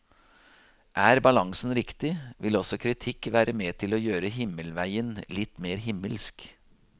Er balansen riktig, vil også kritikk være med til å gjøre himmelveien litt mer himmelsk.